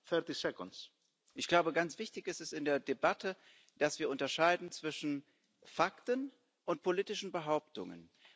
Frau Kollegin! Ganz wichtig ist es in der Debatte, dass wir unterscheiden zwischen Fakten und politischen Behauptungen.